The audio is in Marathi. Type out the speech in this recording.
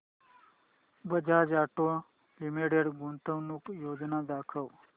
बजाज ऑटो लिमिटेड गुंतवणूक योजना दाखव